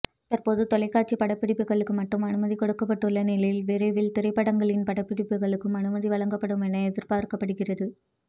தற்போது தொலைக்காட்சி படப்பிடிப்புகளுக்கு மட்டும் அனுமதி கொடுக்கப்பட்டுள்ள நிலையில் விரைவில் திரைப்படங்களின் படப்பிடிப்புக்கும் அனுமதி வழங்கப்படும் என எதிர்பார்க்கப்படுகிறது